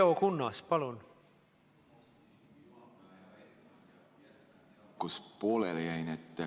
kus pooleli jäin.